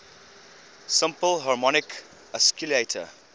simple harmonic oscillator